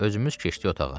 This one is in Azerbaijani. Özümüz keçdik otağa.